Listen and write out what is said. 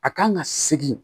A kan ka segin